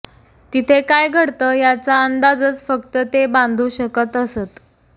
तिथे काय घडतं याचा अंदाजच फक्त ते बांधू शकत असत